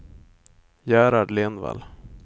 Gerhard Lindvall